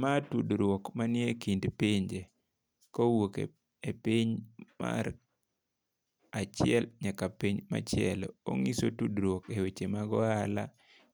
Ma tudruok manie kind pinje kowuok e piny mar achiel nyaka piny machielo. Onyiso tudruok eweche mag ohala,